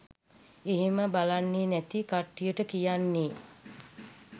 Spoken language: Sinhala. එහෙම බලන්නේ නැති කට්ටියට කියන්නේ